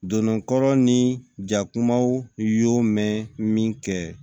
Dondonkɔrɔ ni jakumaw y'o mɛn min kɛ